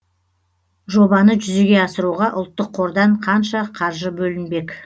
жобаны жүзеге асыруға ұлттық қордан қанша қаржы бөлінбек